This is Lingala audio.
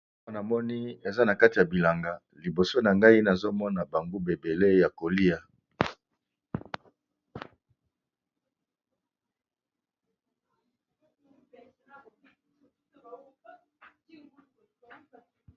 Aw namoni eza na kati ya bilanga liboso na ngai nazomona ba nguba ebele ya kolia.